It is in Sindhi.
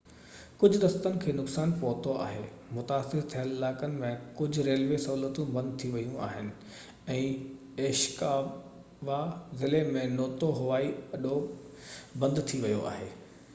ڪجهہ رستن کي نقصان پهتو آهي متاثر ٿيل علائقن ۾ ڪجهہ ريلوي سهولتون بند ٿي ويون آهن ۽ عيشڪاوا ضلعي ۾ نوتو هوائي اڏو بند ٿي ويو آهي